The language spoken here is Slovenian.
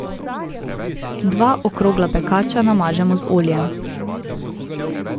Dva okrogla pekača namažemo z oljem.